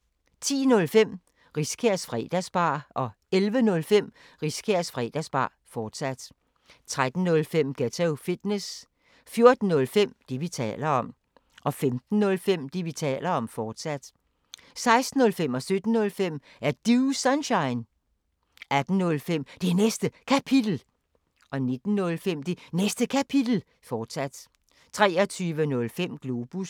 10:05: Riskærs Fredagsbar 11:05: Riskærs Fredagsbar, fortsat 13:05: Ghetto Fitness 14:05: Det, vi taler om 15:05: Det, vi taler om, fortsat 16:05: Er Du Sunshine? 17:05: Er Du Sunshine? 18:05: Det Næste Kapitel 19:05: Det Næste Kapitel, fortsat 23:05: Globus